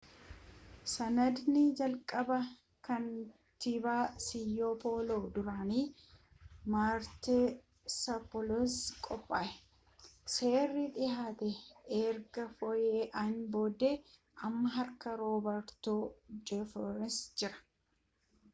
sanadni jalqabaa kantiibaa siyoo pooloo duraanii maartaa sappiliisiin qophaa'e seerri dhihaate erga fooyya'een booda amma harka roobertoo jaafersan jira